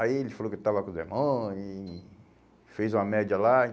Aí ele falou que eu estava com o demônio e e fez uma média lá.